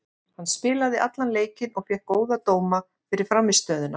Hann spilaði allan leikinn og fékk góða dóma fyrir frammistöðuna.